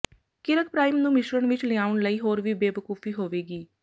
ਕਿਰਕ prime ਨੂੰ ਮਿਸ਼ਰਣ ਵਿਚ ਲਿਆਉਣ ਲਈ ਹੋਰ ਵੀ ਬੇਵਕੂਫੀ ਹੋਵੇਗੀ